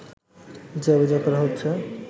যে অভিযোগ করা হচ্ছে